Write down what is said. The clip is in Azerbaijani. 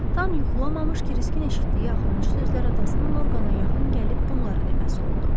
Tam yuxulamamış Kriskin eşitdiyi axırıncı sözlər atasının Orqana yaxın gəlib bunları deməsi oldu.